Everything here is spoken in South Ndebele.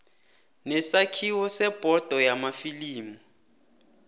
nesakhiwo sebhodo yamafilimu